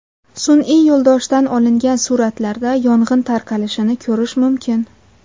Sun’iy yo‘ldoshdan olingan suratlarda yong‘in tarqalishini ko‘rish mumkin.